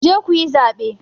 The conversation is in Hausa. Ku je ku yi zaɓe!